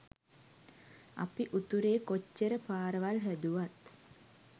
අපි උතුරේ කොච්චර පාරවල් හැදුවත්